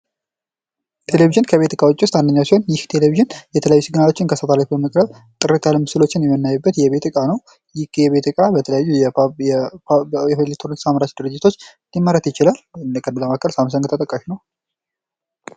ቴሌቪዥን ከቤት እቃዎቹ ውስጥ አንደኛው ሲሆን ይህ ቴሌቪዥን የተለያዩ ሲግናሎችን ከሳተላይት በማቅረብ ጥርት ያሉ ምስሎችን የምናይበት የቤት ዕቃ ነው ።ይህ የቤት ዕቃ በተለያዩ የቴሌቭዥን አምራች ድርጅቶች ሊመረጥ ይችላል ከእነርሱ መካከል ሳምሰንግ ተጠቃሽ ነው።